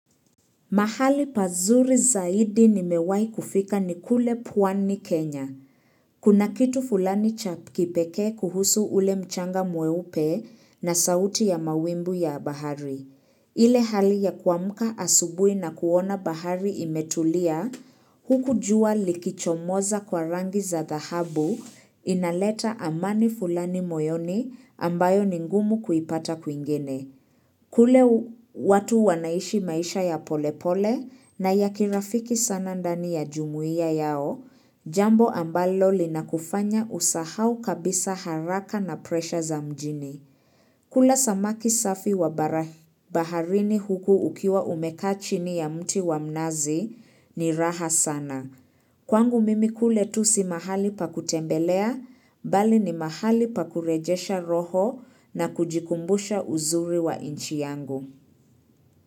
Mahali pazuri zaidi nimewahi kufika ni kule pwani Kenya. Kuna kitu fulani cha kipekee kuhusu ule mchanga mweupe na sauti ya mawimbi ya bahari. Ile hali ya kuamka asubuhi na kuona bahari imetulia, huku jua likichomoza kwa rangi za dhahabu inaleta amani fulani moyoni ambayo ni ngumu kuipata kwingine. Kule watu wanaishi maisha ya polepole na ya kirafiki sana ndani ya jumuiya yao, jambo ambalo linakufanya usahau kabisa haraka na presha za mjini. Kula samaki safi wa baharini huku ukiwa umekaa chini ya mti wa mnazi ni raha sana. Kwangu mimi kule tu si mahali pa kutembelea, bali ni mahali pa kurejesha roho na kujikumbusha uzuri wa inchi yangu.